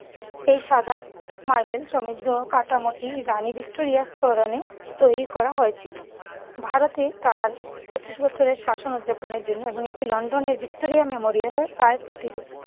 এই সাদা মার্বেল সমৃদ্ধ কাটামোটি রানী ভিক্টোরিয়ার স্মরণে তৈরি করা হয়েছিল। ভারতে তার পঁচিশ বছরের শাসন উদযাপনের জন্য এবং এটি লন্ডনের ভিক্টোরিয়া মেমোরিয়ালের প্রায় প্রতিরূপ।